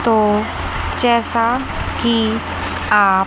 तो जैसा कि आप--